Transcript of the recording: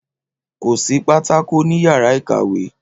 Kò sí pátákó ní yàrá ikàwé